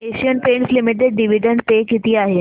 Asian Paints Limited dividend pay किती आहे